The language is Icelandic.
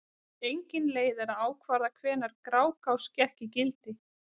Engin leið er að ákvarða hvenær Grágás gekk í gildi.